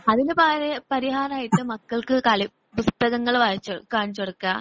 അതിനു പരി പരിഹാരമായിട്ട് മക്കൾക്ക് കളി പുസ്തകങ്ങൾ വായിച്ചുകൊടുക്കുക, കാണിച്ചുകൊടുക്കുക.